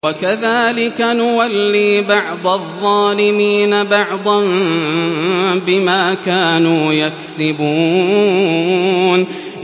وَكَذَٰلِكَ نُوَلِّي بَعْضَ الظَّالِمِينَ بَعْضًا بِمَا كَانُوا يَكْسِبُونَ